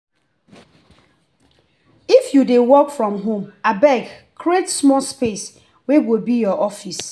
if you dey work from home abeg create small space wey go be your office.